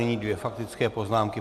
Nyní dvě faktické poznámky.